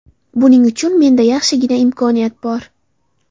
Buning uchun menda yaxshigina imkoniyat bor.